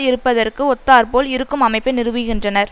இருப்பதற்கு ஒத்தாற்போல் இருக்கும் அமைப்பை நிறுவுகின்றனர்